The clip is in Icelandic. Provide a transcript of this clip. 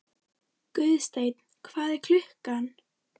Guðsteinn, hvað er klukkan?